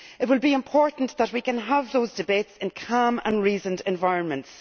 It will be important that we can have those debates in calm and reasoned environments.